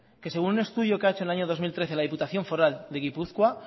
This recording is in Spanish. que según un estudio que ha hecho en el año dos mil trece la diputación foral de gipuzkoa